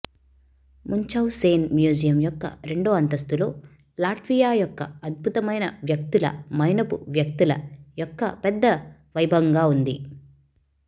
Munchausen museum యొక్క రెండో అంతస్తులో లాట్వియా యొక్క అద్భుతమైన వ్యక్తుల మైనపు వ్యక్తుల యొక్క పెద్ద వైభవంగా ఉంది